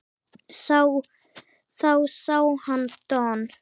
Þá sá hann Don